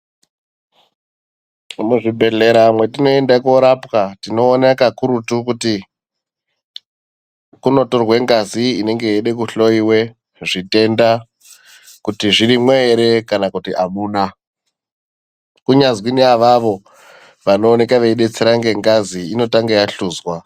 Muzvibhedhlera mwatinoenda korapwa tinoona kakurutu kuti kunotorwa ngazi yeide kuhloiwe zvitenda. Kuti zvirimwo ere kana kuti hamuna, kunyazwi naavavo vanooneka veibetsera ngengazi inotanga yahluzwa.